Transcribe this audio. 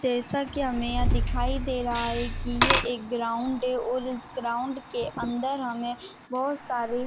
जैसा की हमे यहाँ दिखाई दे रहा है की ये एक ग्राउंड है और इस ग्राउंड के अंदर हमे बहुत सारी--